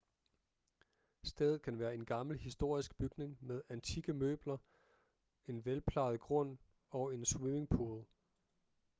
stedet kan være en gammel historisk bygning med antikke møbler en velplejet grund og en swimmingpool